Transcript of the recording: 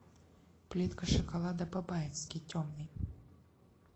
плитка шоколада бабаевский темный